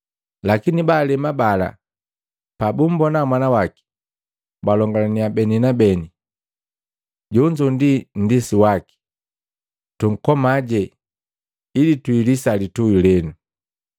Lakini baalema bala pabumbona mwana waki, balongalania beni kwa beni, ‘Jonzo ndi nndisi waki, tunkomaji ili twiilisa litui lenu!’